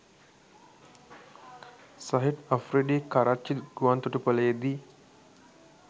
Shahid Afridi Karachi ගුවන්තොටුපලේදි